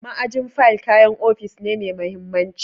Ma'ajin fayil kayan ofishi ne mai mahimmanci.